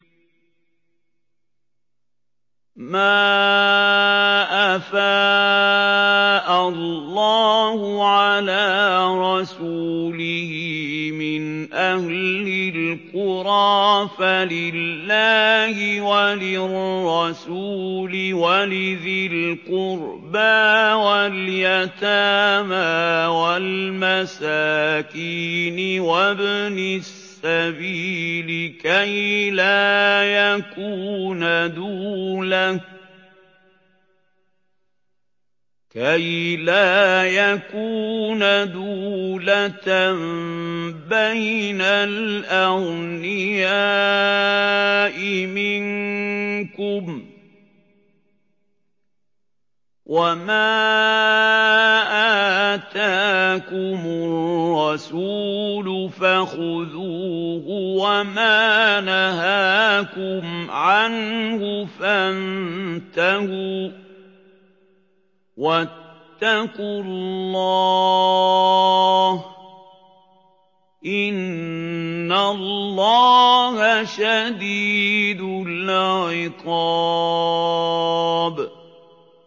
مَّا أَفَاءَ اللَّهُ عَلَىٰ رَسُولِهِ مِنْ أَهْلِ الْقُرَىٰ فَلِلَّهِ وَلِلرَّسُولِ وَلِذِي الْقُرْبَىٰ وَالْيَتَامَىٰ وَالْمَسَاكِينِ وَابْنِ السَّبِيلِ كَيْ لَا يَكُونَ دُولَةً بَيْنَ الْأَغْنِيَاءِ مِنكُمْ ۚ وَمَا آتَاكُمُ الرَّسُولُ فَخُذُوهُ وَمَا نَهَاكُمْ عَنْهُ فَانتَهُوا ۚ وَاتَّقُوا اللَّهَ ۖ إِنَّ اللَّهَ شَدِيدُ الْعِقَابِ